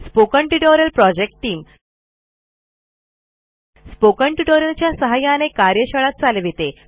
spoken tutorial project team spoken tutorial च्या सहाय्याने कार्यशाळा चालविते